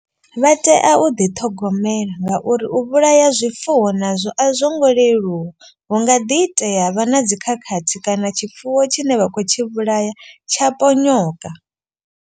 Vha tea u ḓiṱhogomela ngauri u vhulaya zwifuwo nazwo a zwo ngo leluwa. Hu nga ḓi itea ha vha na dzi khakhathi kana tshifuwo tshine vha kho tshi vhulaya tsha ponyoka.